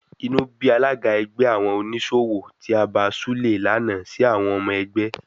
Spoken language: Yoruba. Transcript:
Inú bí alága ẹgbẹ́ àwọn oníṣòwò tí abàa Súlè lànà si àwọn ọmọ ẹgbẹ́.